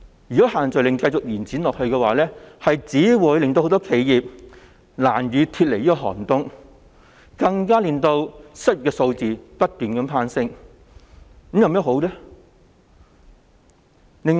如果限聚令繼續延長下去，只會令很多企業難以脫離寒冬，更會令失業率不斷攀升。